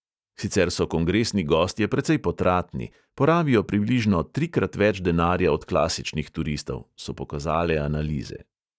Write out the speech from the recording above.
Sicer so kongresni gostje precej potratni – porabijo približno trikrat več denarja od klasičnih turistov, so pokazale analize.